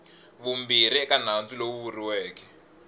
vumbirhi eka nandzu lowu vuriweke